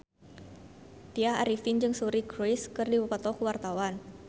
Tya Arifin jeung Suri Cruise keur dipoto ku wartawan